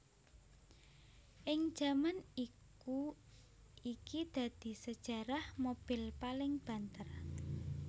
Ing jaman iku iki dadi sejarah mobil paling banter